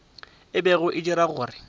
e bego e dira gore